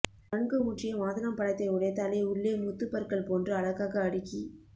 நன்கு முற்றிய மாதுளம் பழத்தை உடைத்தாலே உள்ளே முத்துப் பற்கள் போன்று அழகாக அடுக்கி